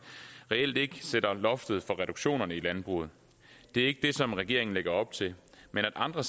reelt ikke sætter loftet for reduktionerne i landbruget det er ikke det som regeringen lægger op til men at andre